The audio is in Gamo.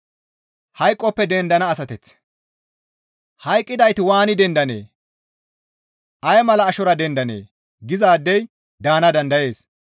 «Hayqqidayti waani dendanee? Ay mala ashora dendanee?» gizaadey daana dandayees.